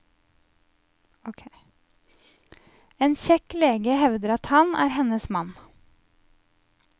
En kjekk lege hevder at han er hennes mann.